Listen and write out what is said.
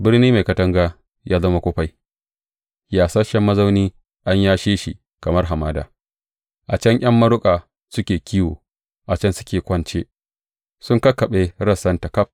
Birni mai katanga ya zama kufai, yasasshen mazauni, an yashe shi kamar hamada; a can ’yan maruƙa suke kiwo, a can suke kwance; sun kakkaɓe rassanta ƙaf.